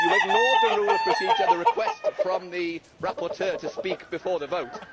You ignored the Rule of Procedure on the request from the rapporteur to speak before the vote.